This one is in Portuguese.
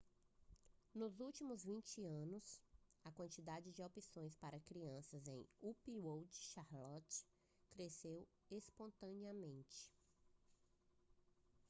nos últimos 20 anos a quantidade de opções para crianças em uptown charlotte cresceu exponencialmente